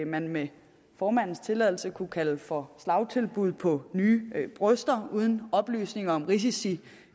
man med formandens tilladelse kunne kalde for slagtilbud på nye bryster uden oplysninger om risici